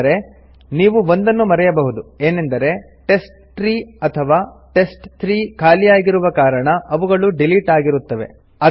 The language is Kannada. ಆದರೆ ನೀವು ಒಂದನ್ನು ಮರೆಯಬಹುದು ಏನೆಂದರೆ ಟೆಸ್ಟ್ಟ್ರೀ ಅಥವಾ ಟೆಸ್ಟ್3 ಖಾಲಿಯಾಗಿರುವ ಕಾರಣ ಅವುಗಳು ಡಿಲೀಟ್ ಆಗಿರುತ್ತವೆ